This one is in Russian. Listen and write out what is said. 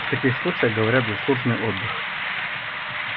в таких случаях говорят заслуженный отдых